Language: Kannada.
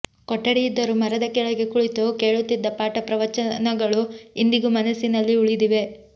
ಕೊಠಡಿ ಇದ್ದರೂ ಮರದ ಕೆಳಗೆ ಕುಳಿತು ಕೇಳುತ್ತಿದ್ದ ಪಾಠ ಪ್ರವಚನಗಳು ಇಂದಿಗೂ ಮನಸ್ಸಿನಲ್ಲಿ ಉಳಿದಿವೆ